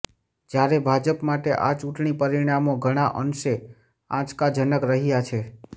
જ્યારે ભાજપ માટે આ ચૂંટણી પરિણામો ઘણા અંશે આંચકાજનક રહ્યા છે